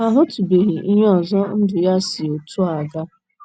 Ha ahụtụbeghị ihe ọzọ ndụ ya si otú a aga.